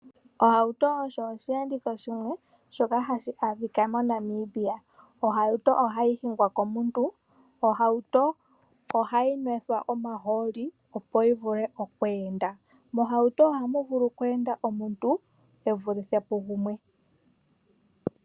Ohauto osho osheenditho shimwe shoka hashi adhika moNamibia. Ohauto ohayi hingwa komuntu. Ohauto ohayi nwethwa omahooli, opo yi vule oku enda. Mohauto ohamu vulu oku enda aantu ye vulithe pugumwe.